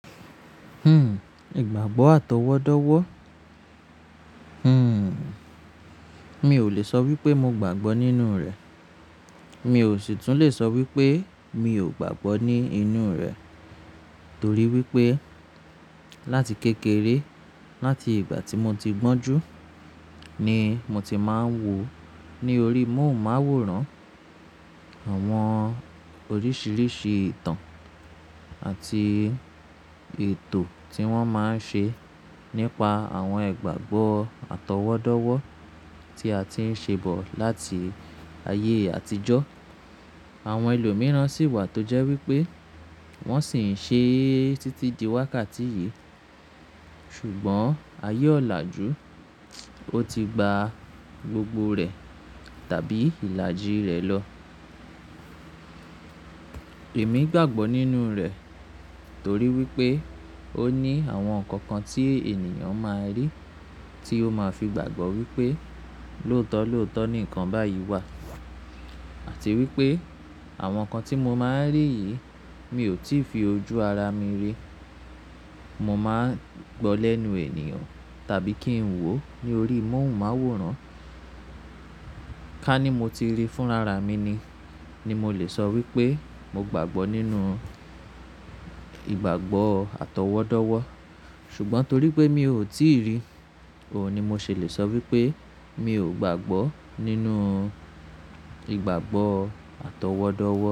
Hmm, ìgbàgbọ́ àtọwọ́dọ́wọ́? Hmm, mi ò lè sọ wípé mo gbàgbọ́ nínú rẹ̀. Mi ò sì tún lè sọ wípé mi ò gbàgbọ́ ní inú rẹ̀. Torí wípé láti kékeré, láti ìgbà tí mo ti gbọ́njú ni mo ti máa ń wò ó ní orí í mọ́ùn máwòrán àwọn oríṣiríṣi ìtàn àti ètò tí wọ́n máa ń ṣe nípa àwọn ìgbàgbọ́ àtọwọ́dọ́wọ́ tí a ti ń ṣe bọ̀ láti ayé àtijọ́. Àwọn ẹlòmíràn sì wà tó jẹ́ wípé wọ́n sì ń ṣe é títí di wákàtí yìí. Ṣùgbọ́n ayé ọ̀làjú, ó ti gba gbogbo rẹ̀ tàbí ìlàjì rẹ̀ lọ. Èmi gbàgbọ́ nínú rẹ̀ torí wípé ó ní àwọn nǹkan kan tí ènìyàn máa rí, tí ó máa fi gbàgbọ́ wípé lóòótọ́ lóòótọ́ ni nǹkan báyìí wà. Àti wípé àwọn nǹkan tí mo máa ń rí yìí mi ò tí ì fi ojú ara mi rí. Mo máa ń gbọ́ lẹ́nu ènìyàn tàbí kí ń wò ó ní orí í mọ́ùn máwòrán. Ká ní mo ti rí fún ara mi ni, ni mo lè sọ wípé mo gbàgbọ́ nínú ìgbàgbọ́ àtọwọ́dọ́wọ́. Ṣùgbọ́n torí pé mi ò tí ì ri, òun ni mo ṣèlè sọ wípé mi ò gbàgbọ́ nínú ìgbàgbọ́ àtọwọ́dọ́wọ́.